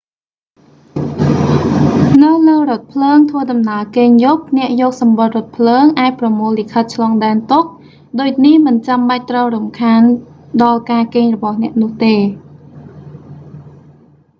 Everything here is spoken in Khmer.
នៅលើរថភ្លើងធ្វើដំណើរគេងយប់ អ្នកយកសំបុត្ររថភ្លើង អាចប្រមូលលិខិតឆ្លងដែនទុក ដូចនេះមិនចាំបាច់ត្រូវរំខានដល់ការគេងរបស់អ្នកនោះទេ